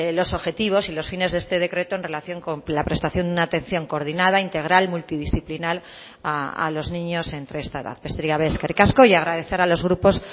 los objetivos y los fines de este decreto en relación con la prestación de una atención coordinada integral multidisciplinar a los niños entre esta edad besterik gabe eskerrik asko y agradecer a los grupos